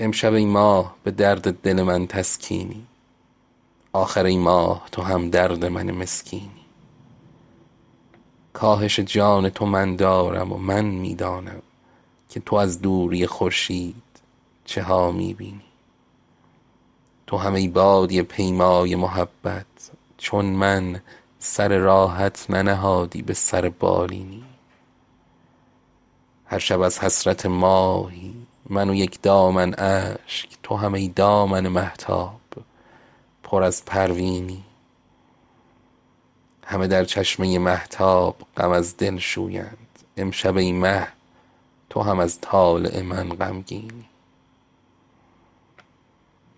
امشب ای ماه به درد دل من تسکینی آخر ای ماه تو همدرد من مسکینی کاهش جان تو من دارم و من می دانم که تو از دوری خورشید چه ها می بینی تو هم ای بادیه پیمای محبت چون من سر راحت ننهادی به سر بالینی هر شب از حسرت ماهی من و یک دامن اشک تو هم ای دامن مهتاب پر از پروینی همه در چشمه مهتاب غم از دل شویند امشب ای مه تو هم از طالع من غمگینی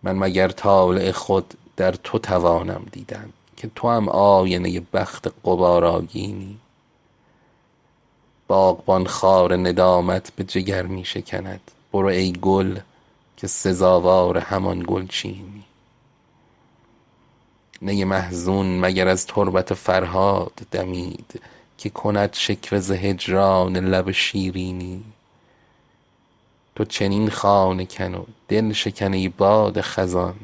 من مگر طالع خود در تو توانم دیدن که توام آینه بخت غبارآگینی باغبان خار ندامت به جگر می شکند برو ای گل که سزاوار همان گلچینی نی محزون مگر از تربت فرهاد دمید که کند شکوه ز هجران لب شیرینی تو چنین خانه کن و دلشکن ای باد خزان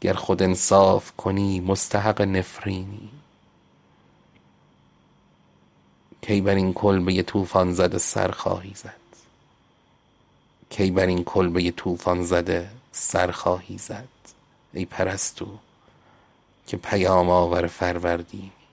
گر خود انصاف کنی مستحق نفرینی کی بر این کلبه طوفان زده سر خواهی زد ای پرستو که پیام آور فروردینی شهریارا اگر آیین محبت باشد جاودان زی که به دنیای بهشت آیینی